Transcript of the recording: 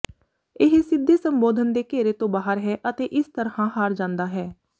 ਇਹ ਸਿੱਧੇ ਸੰਬੋਧਨ ਦੇ ਘੇਰੇ ਤੋਂ ਬਾਹਰ ਹੈ ਅਤੇ ਇਸ ਤਰ੍ਹਾਂ ਹਾਰ ਜਾਂਦਾ ਹੈ